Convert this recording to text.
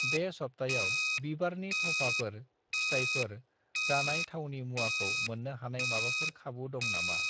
बे सप्तायाव बिबारनि थफाफोर ,फिथाइफोर ,जानाय थावनि मुवाखौ मोन्नो हानाय माबाफोर खाबु दङ नामा?